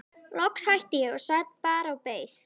Loks hætti ég og sat bara og beið.